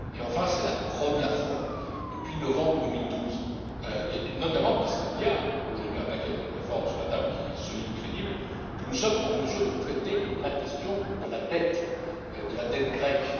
Enfin, c'est la première fois, depuis novembre 2012 et notamment parce qu'il y a aujourd'hui un paquet de réformes sur la table qui est solide et crédible que nous sommes en mesure de traiter la question de la dette grecque.